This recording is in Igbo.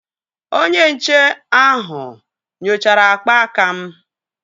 Onye nche ahụ nyochara akpa aka m